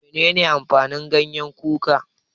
Menene amfanin gyanyen kuka?